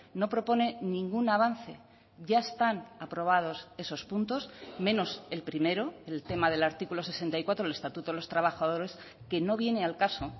no propone ningún avance ya están aprobados esos puntos menos el primero el tema del artículo sesenta y cuatro del estatuto de los trabajadores que no viene al caso